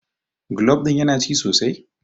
golab ɗin yana ci sosai?